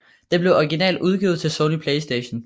Den blev originalt udgivet til Sony PlayStation